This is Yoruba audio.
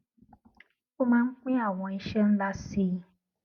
ó máa ń pín àwọn iṣé ńlá sí